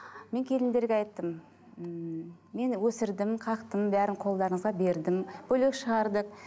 мен келіндерге айттым ммм мен өсірдім қақтым бәрін қолдарыңызға бердім бөлек шығардық